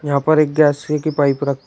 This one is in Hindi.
यहां पर एक गैस सुई की पाइप रख--